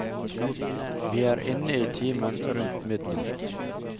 Vi er inne i timen rundt midnatt.